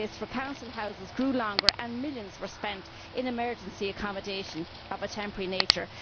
waiting lists for council houses grew longer, and millions were spent in emergency accommodation of a temporary nature.